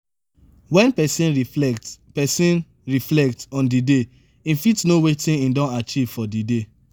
when person reflect person reflect on di day im fit know wetin im don achieve for di day